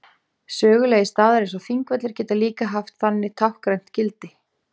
Sögulegir staðir eins og Þingvellir geta líka haft þannig táknrænt gildi.